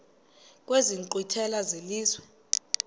kwezi nkqwithela zelizwe